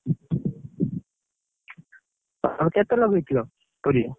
ଆଉ କେତେ ଲଗେଇଥିଲ, ପରିବା?